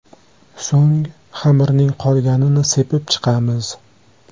So‘ng xamirning qolganini sepib chiqamiz.